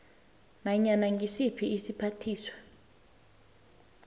nanyana ngisiphi isiphathiswa